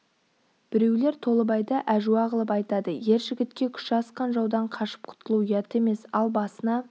біреулер толыбайды әжуа қылып айтады ер жігітке күші асқан жаудан қашып құтылу ұят емес ал басына